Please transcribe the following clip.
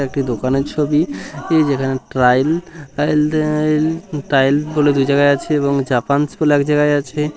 একটি দোকানের ছবি যেখানে ট্রাইল টাইল বলে যে জায়গায় আছে এবং জাপান এক জায়গায় আছে।